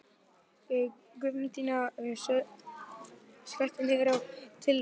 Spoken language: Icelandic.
Guðmundína, slökktu á niðurteljaranum.